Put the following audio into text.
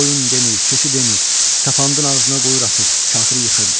Qoyun demir, keçi demir, sapandın ağzına qoyur atır, kafiri yıxırdı.